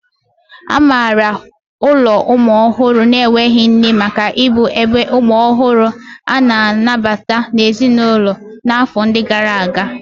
A maara ụlọ ụmụ ọhụrụ na-enweghị nne maka ịbụ ebe umu ohuru a-na anabata n'ezinulo na afọ ndi gara aga.